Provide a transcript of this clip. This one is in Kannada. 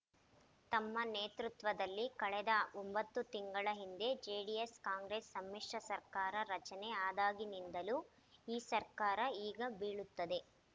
ತಮ್ಮ ನೇತೃತ್ವದಲ್ಲಿ ಕಳೆದ ಒಂಬತ್ತು ತಿಂಗಳ ಹಿಂದೆ ಜೆಡಿಎಸ್ಕಾಂಗ್ರೆಸ್ ಸಮ್ಮಿಶ್ರ ಸರ್ಕಾರ ರಚನೆ ಆದಾಗಿನಿಂದಲೂ ಈ ಸರ್ಕಾರ ಈಗ ಬೀಳುತ್ತದೆ